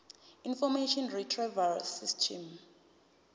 information retrieval system